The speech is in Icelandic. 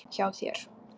Hjá þér?